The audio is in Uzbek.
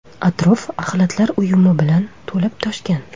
Atrof axlatlar uyumi bilan to‘lib-toshgan.